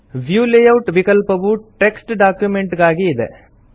view layout ವಿಕಲ್ಪವು text document ಗಾಗಿ ಇದೆ